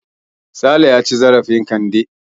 Sale ya ci zarafin Kande.